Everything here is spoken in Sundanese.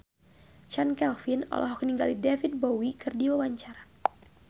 Chand Kelvin olohok ningali David Bowie keur diwawancara